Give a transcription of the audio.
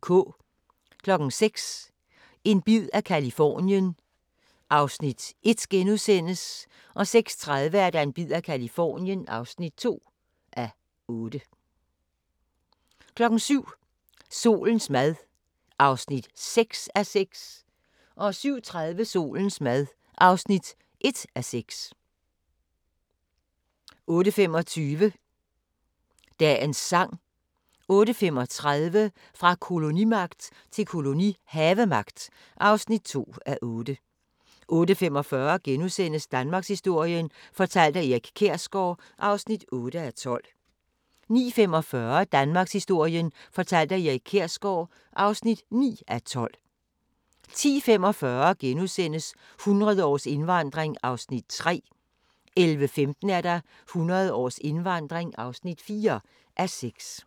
06:00: En bid af Californien (1:8)* 06:30: En bid af Californien (2:8) 07:00: Solens mad (6:6) 07:30: Solens mad (1:6) 08:25: Dagens sang 08:35: Fra kolonimagt til kolonihavemagt (2:8) 08:45: Danmarkshistorien fortalt af Erik Kjersgaard (8:12)* 09:45: Danmarkshistorien fortalt af Erik Kjersgaard (9:12) 10:45: 100 års indvandring (3:6)* 11:15: 100 års indvandring (4:6)